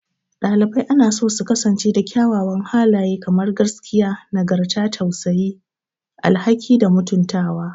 Ɗalibai anaso su kasance da kyawawan halaye kamar gaskiya, nagarta, tausayi, tausayi, alhaki, da mutuntawa.